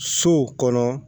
Sow kɔnɔ